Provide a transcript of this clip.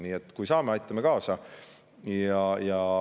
Nii et kui saame, aitame kaasa.